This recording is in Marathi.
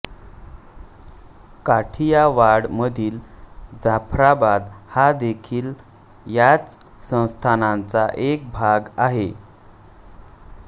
काठियावाड मधील जाफराबाद हा देखील याच संस्थानाचा एक भाग आहे